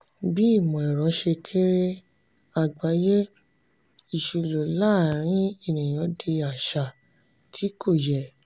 bi imọ-ẹrọ ṣe kere agbaye iṣilọ laarin eniyan di aṣa ti ko yẹ.